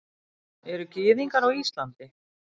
Eru Gyðingar á Íslandi?